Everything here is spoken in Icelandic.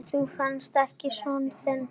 Þú venst þessu einsog ég.